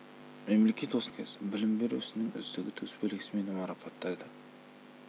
мемлекет осындай іскер басшының қызметін ескеріп қазақстан республикасы білім беру ісінің үздігі төсбелгісімен марапаттады